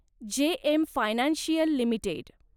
JM Financial limited